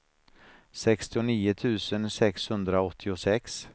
sextionio tusen sexhundraåttiosex